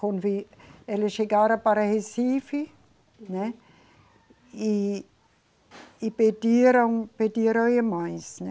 Quando eles chegaram para Recife, né, e, e pediram, pediram irmãs, né,